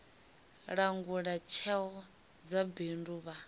langula tsheo dza bindu vha